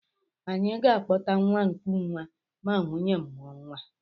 Any ga-akpọta nwa nkụnwa ma nwunye m mụọ nwa